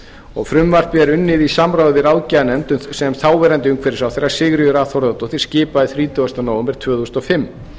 og frumvarpið er unnið í samráði við ráðgjafarnefnd sem þáverandi umhverfisráðherra sigríður a þórðardóttir skipaði þrítugasta nóvember tvö þúsund og fimm